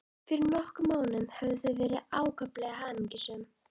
Fyrir nokkrum mánuðum höfðu þau verið ákaflega hamingjusöm.